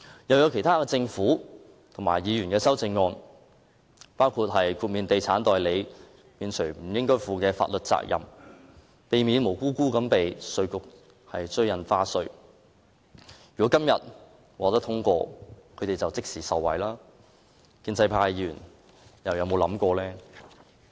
還有政府和議員提出的其他修正案，包括豁免地產代理某些法律責任，以免他們無辜被稅務局追討印花稅，如果《條例草案》今天獲得通過，他們便可即時受惠，建制派議員又有否想過？